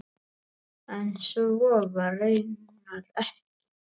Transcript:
En svo var raunar ekki.